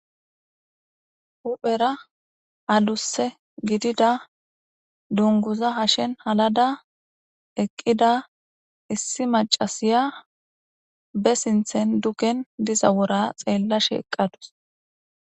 huphera adusse gidida dunguza hashen halada eqqida issi macasiya be sinthen duken diza wora xeella sheeqadus